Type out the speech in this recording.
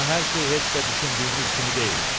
Amma hər şey heç də düşündüyünüz kimi deyil.